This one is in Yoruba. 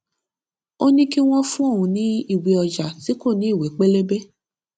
ó ní kí wón fún òun ní ìwé ọjà tí kò ní ìwé pélébé